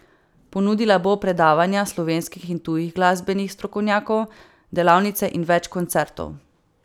Ponudila bo predavanja slovenskih in tujih glasbenih strokovnjakov, delavnice in več koncertov.